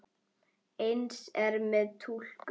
Eins er með túlkun.